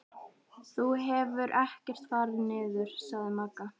Þú hefur ekkert farið niður, sagði Magga.